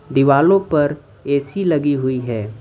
दीवालो पर ऐ_सी लगी हुई है।